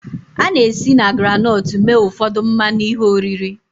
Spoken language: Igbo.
A na-esi na groundnut mee ụfọdụ mmanụ ihe oriri